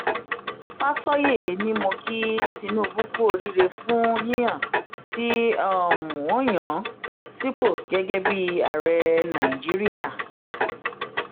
fàsọyé ni mo ki tinubu kú oríire fún yíyàn tí um wọn yàn án sípò gẹgẹ bíi ààrẹ um nàìjíríà